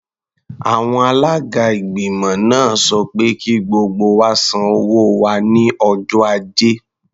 Àwọn alága ìgbìmọ̀ náà sọ pé kí gbogbo wa san owó wa ní ọjọ́ Ajé.